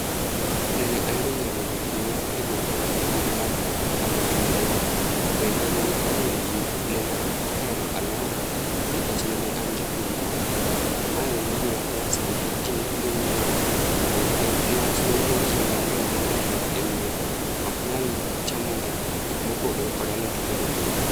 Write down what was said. Nene ayudo ng'eruok ahinya e gweng' kaka japur mar alot maber. To kendo nene omiyo ji nene ohero aloda nikech nene an japur maber, to mae nene omiya pesa nikech ji ne biro nyieo to niwach ng'enyne ji mkang'eny ma odak e mier oknyal chamo gik mopogre kod alot pile pile.